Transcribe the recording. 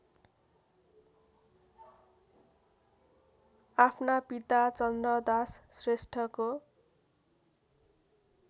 आफ्ना पिता चन्द्रदास श्रेष्ठको